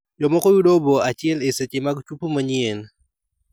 Jomoko yudo obo achiel e seche mag chuopo manyien.